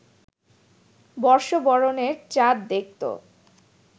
বর্ষবরণের চাঁদ দেখত